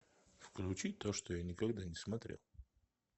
включить то что я никогда не смотрел